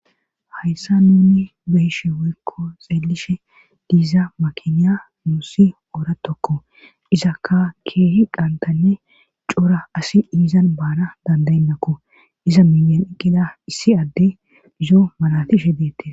Hayssa nuni beyshe woykko xeelishe diiza makiniya nuusi oora tokko izakka keehi qantanne cora asi iizan baana dandayennakko iza minyen ekida issi adde izo malatishe deette.